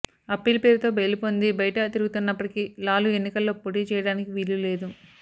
appeal పేరుతో bail పొంది బయట తిరుగుతున్నప్పటికీ లాలూ ఎన్నికల్లో పోటీ చేయడానికి వీలులేదు